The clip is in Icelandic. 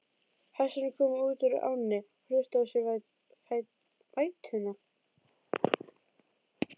Hestarnir komu upp úr ánni og hristu af sér vætuna.